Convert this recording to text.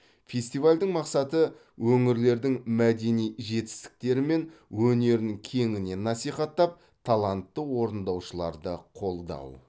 фестивальдің мақсаты өңірлердің мәдени жетістіктері мен өнерін кеңінен насихаттап талантты орындаушыларды қолдау